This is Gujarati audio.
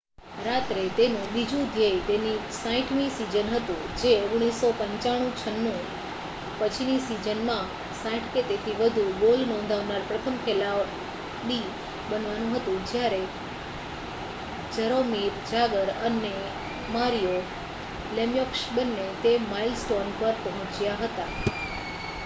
રાત્રે તેનું બીજું ધ્યેય તેની 60મીસીઝન હતું જે 1995-96 પછીનીસીઝનમાં 60 કે તેથી વધુ ગોલનોંધાવનાર પ્રથમ ખેલાડી બનવાનુંહતું જ્યારે જરોમીર જાગર અનેમારિયો લેમ્યોક્સ બંને તે માઇલસ્ટોનપર પહોંચ્યા હતા